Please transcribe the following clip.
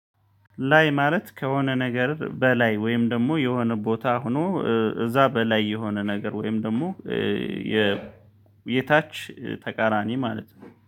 ላይ ማለት ከሆነ ነገር በላይ ወይም ደግሞ የሆነ ቦታ ሆኖ እዚያ በላይ የሆነ ነገር ወይም ደግሞ የ የታች ተቃራኒ ማለት ነው